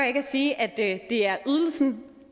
ikke at sige at det er ydelsen